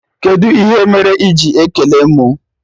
Kedụ ihe mere iji ekele mụ?